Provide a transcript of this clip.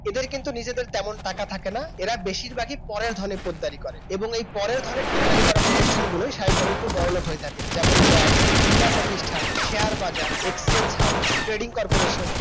এদের কিন্তু নিজেদের তেমন টাকা থাকে না এরা বেশিরভাগই পরের ধনে পোদ্দারি করে এবং এর পরের ধনে পোদ্দারি করা প্রতিষ্ঠানগুলোই স্বভাবতই বড়লোক হয়ে থাকে যেমন ব্যাংক বীমা প্রতিষ্ঠান শেয়ারবাজার extend houseTrading Corporation